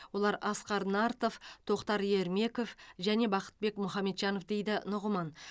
олар асқар нартов тоқтар ермеков және бақытбек мұхамеджанов дейді нұғыман